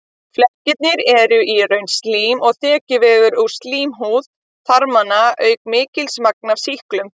Flekkirnir eru í raun slím og þekjuvefur úr slímhúð þarmanna auk mikils magns af sýklinum.